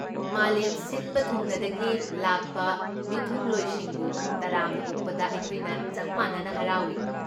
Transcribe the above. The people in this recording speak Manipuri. ꯃꯥꯂꯦꯝ ꯁꯤꯟꯕ ꯊꯨꯡꯅꯗꯒꯤ ꯂꯥꯛꯄ ꯃꯤꯊꯨꯡꯂꯣꯏꯁꯤꯡꯕꯨ ꯇꯔꯥꯝꯅ ꯑꯣꯛꯄꯗ ꯑꯩꯈꯣꯏꯅ ꯆꯞ ꯃꯥꯟꯅꯅ ꯍꯔꯥꯎꯏ꯫